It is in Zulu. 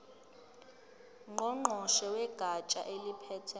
ngqongqoshe wegatsha eliphethe